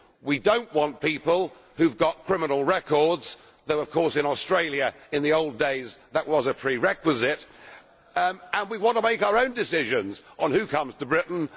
We do not want people who have got criminal records though of course in Australia, in the old days, that was a prerequisite and we want to make our own decisions on who comes to Britain.